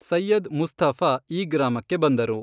ಸೈಯದ್ ಮುಸ್ಥಫ ಈ ಗ್ರಾಮಕ್ಕೆ ಬಂದರು.